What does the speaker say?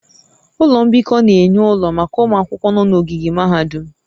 Ụlọ mbikọ na-enye ụlọ maka ụmụ akwụkwọ nọ n'ogige mahadum